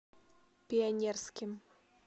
пионерским